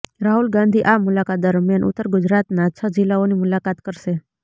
રાહુલ ગાંધી આ મુલાકાત દરમિયાન ઉત્તર ગુજરાતના છ જિલ્લાઓની મુલાકત કરશે